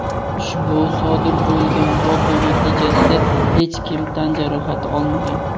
Ushbu sodir bo‘lgan voqea natijasida hech kim tan jarohati olmagan.